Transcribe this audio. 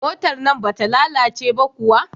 Motar nan bata lalace ba kuwa?